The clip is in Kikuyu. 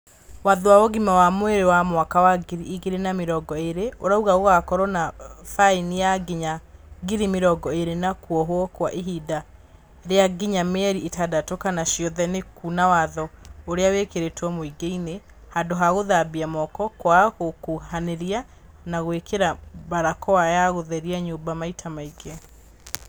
Watho wa ũgima wa mwĩrĩ wa mwaka wa ngiri igĩrĩ na mĩrongo ĩrĩ ũrauga gũgakorwo na baini ya nginya ngiri mĩrongo irĩ na kuohwo kwa ihinda rĩa nginya mĩeri ĩtandatũ kana ciothe nĩ kuna watho ũrĩa wĩkĩrĩtwo mũingĩinĩ; handũ ha gũthambia moko, kwaga gũkũhanĩrĩria na gũikĩra mbarakoa na gũtheria nyũmba maita maingĩ.